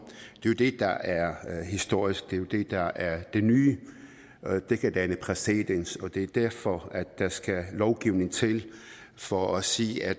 jo det der er historisk det er det der er det nye det kan danne præcedens og det er derfor at der skal lovgivning til for at sige at